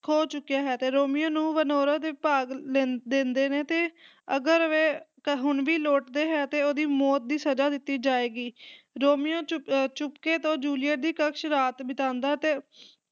ਖੋ ਚੁੱਕਿਆ ਹੈ, ਰੋਮੀਓ ਨੂੰ ਵੇਰੋਨਾ ਦੇ ਭਾਗ ਲੈਂਦੇ ਦਿੰਦੇ ਨੇ ਤੇ ਅਗਰ ਵੇ ਹੁਣ ਵੇ ਹੁਣ ਵੀ ਲੋਟਦੇ ਹੈ ਤੇ ਉਹਦੀ ਮੌਤ ਦੀ ਸਜ਼ਾ ਦਿੱਤੀ ਜਾਏਗੀ, ਰੋਮੀਓ ਚੁਪ ਅਹ ਚੁਪਕੇ ਤੋਂ ਜੂਲੀਅਟ ਕਕਸ਼ ਰਾਤ ਬਿਤਾਉਂਦਾ ਤੇ